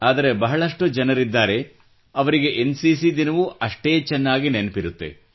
ಆದರೆ ಬಹಳಷ್ಟು ಜನರಿದ್ದಾರೆ ಅವರಿಗೆ ಎನ್ಸಿಸಿ ದಿನವೂ ಅಷ್ಟೇ ಚೆನ್ನಾಗಿ ನೆನಪಿರುತ್ತದೆ